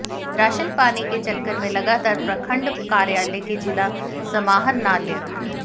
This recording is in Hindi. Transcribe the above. राशन पाने के चक्कर में लगातार प्रखंड कार्यालय के जिला समाहरणालय